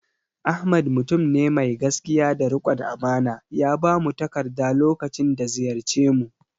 Ahmad mutum ne mai gaskiya da riƙon amana, ya bamu takarda lokacin da ziyarce mu